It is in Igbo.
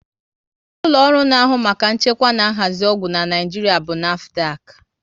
Ụlọ ọrụ na ahụ maka nchekwa na nhazi ọgwụ n'Naijiria bụ NAFDAC